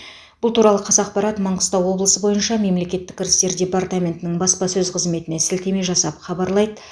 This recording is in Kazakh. бұл туралы қазақпарат маңғыстау облысы бойынша мемлекеттік кірістер департаментінің баспасөз қызметіне сілтеме жасап хабарлайды